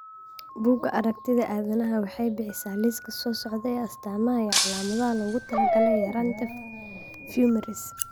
Bugaa aragtida aDdanaha waxay bixisaa liiska soo socda ee astamaha iyo calaamadaha loogu talagalay yaraanta Fumarase.